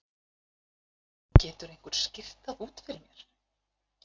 Getur einhver skýrt það út fyrir mér?